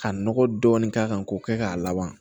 Ka nɔgɔ dɔɔni k'a kan k'o kɛ k'a laban